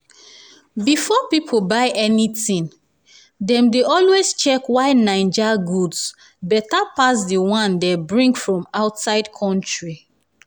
before pipo buy anything dem dey always check why naija goods beta pass d one dey bring from outside country.